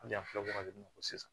Hali an filɛ wagati min na ko sisan